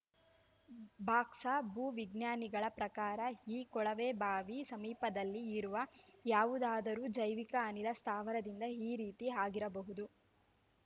ಬಾಕ್ಸಾ ಭೂವಿಜ್ಞಾನಿಗಳ ಪ್ರಕಾರ ಈ ಕೊಳವೆಬಾವಿ ಸಮೀಪದಲ್ಲಿ ಇರುವ ಯಾವುದಾದರೂ ಜೈವಿಕ ಅನಿಲ ಸ್ಥಾವರದಿಂದ ಈ ರೀತಿ ಆಗಿರಬಹುದು